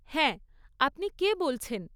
হ্যাঁ। আপনি কে বলছেন?